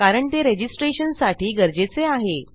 कारण ते registrationसाठी गरजेचे आहे